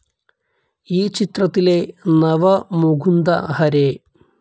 ഈ ചിത്രത്തിലെ നവ മുകുന്ദ ഹെയർ